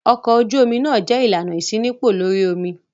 Ọkọ̀ ojú-omi náà jẹ́ ìlànà ìṣínípò lórí omi.